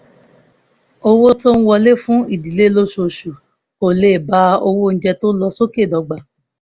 owó tó ń wọlé fún ìdílé lóṣooṣù kò lè bá owó oúnjẹ tó ń lọ sókè dọ́gba